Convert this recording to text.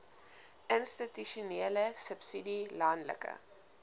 institusionele subsidie landelike